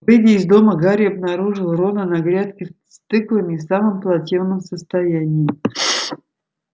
выйдя из дома гарри обнаружил рона на грядке с тыквами в самом плачевном состоянии